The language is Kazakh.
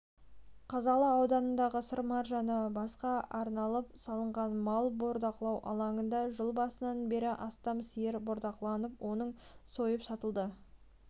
қазалы ауданындағы сыр маржаны басқа арналып салынған малын бордақылау алаңында жыл басынан бері астам сиыр бордақыланып оның сойып сатылды